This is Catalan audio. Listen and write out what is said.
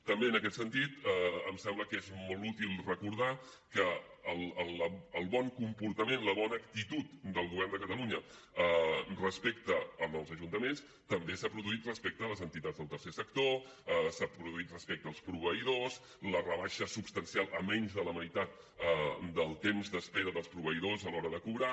també en aquest sentit em sembla que és molt útil recordar que el bon comportament la bona actitud del govern de catalunya respecte als ajuntaments també s’ha produït respecte a les entitats del tercer sector s’ha produït respecte als proveïdors la rebaixa substancial a menys de la meitat del temps d’espera dels proveïdors a l’hora de cobrar